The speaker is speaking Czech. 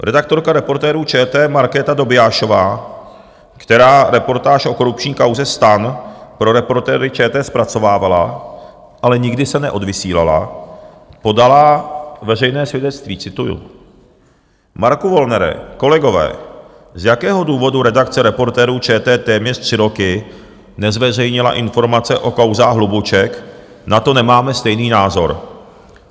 Redaktorka Reportérů ČT Markéta Dobiášová, která reportáž o korupční kauze STAN pro Reportéry ČT zpracovávala, ale nikdy se neodvysílala, podala veřejné svědectví - cituji: Marku Wollnere, kolegové, z jakého důvodu redakce Reportérů ČT téměř tři roky nezveřejnila informace o kauzách Hlubuček, na to nemáme stejný názor.